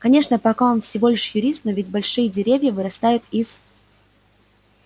конечно пока он всего лишь юрист но ведь большие деревья вырастают из